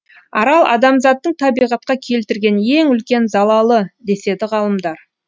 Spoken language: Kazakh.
арал адамзаттың табиғатқа келтірген ең үлкен залалы деседі ғалымдар